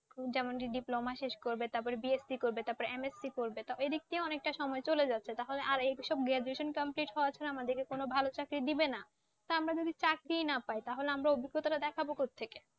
যেমন Diploma শেষ করবে তারপর BSC করবে তারপর MSC পড়বে এদিক দিয়ে অনেকটা সময় চলে যাচ্ছে তাহলে আর এই যে সব graduation complete হওয়ার জন্য কোন ভাল চাকরি দেবে না তো আমরা যদি চাকরিই না পাই তাহলে আমরা অভিজ্ঞতাটা দেখাবো কোথ থেকে